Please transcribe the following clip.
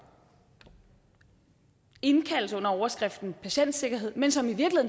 indkaldes under overskriften patientsikkerhed men som i